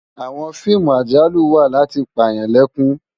Àwòn fiimú àjálú wá làti pá yán lèkún